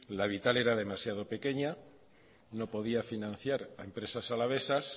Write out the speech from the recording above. la vital era demasiado pequeña no podía financiar a empresas alavesas